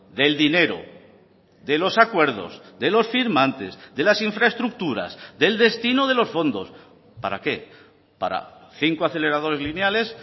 del dinero de los acuerdos de los firmantes de las infraestructuras del destino de los fondos para qué para cinco aceleradores lineales